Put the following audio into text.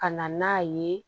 Ka na n'a ye